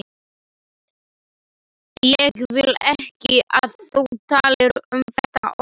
Ég vil ekki að þú talir um þetta oftar.